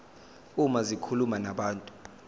uma zikhuluma nabantu